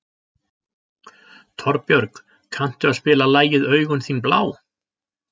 Torbjörg, kanntu að spila lagið „Augun þín blá“?